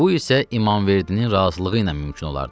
Bu isə İmamverdinin razılığı ilə mümkün olardı.